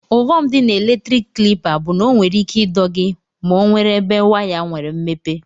Ughọm di na eletrik klipa bu na onwere ike ido gi ma onwere ebe waya nwere mmepe.